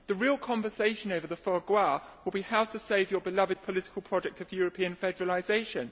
The real conversation over the foie gras will be how to save your beloved political project of European federalisation.